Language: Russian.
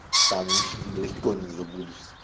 там далеко не заблудишься